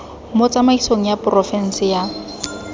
mo tsamaisong ya porofense ya